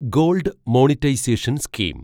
gold monetisation scheme